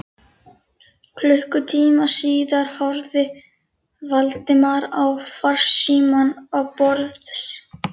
Klukkutíma síðar horfði Valdimar á farsímann á borðs